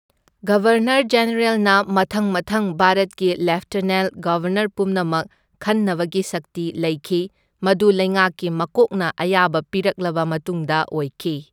Governor ꯖꯦꯅꯔꯦꯜꯅ ꯃꯊꯪ ꯃꯊꯪ ꯚꯥꯔꯠꯀꯤ ꯂꯦꯐꯇꯅꯦꯟꯠ ꯒꯕꯔꯅꯔ ꯄꯨꯝꯅꯃꯛ ꯈꯟꯅꯕꯒꯤ ꯁꯛꯇꯤ ꯂꯩꯈꯤ, ꯃꯗꯨ ꯂꯩꯉꯥꯛꯀꯤ ꯃꯀꯣꯛꯅ ꯑꯌꯥꯕ ꯄꯤꯔꯛꯂꯕ ꯃꯇꯨꯡꯗ ꯑꯣꯏꯈꯤ꯫